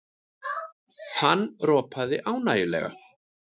Hann ropaði ánægjulega.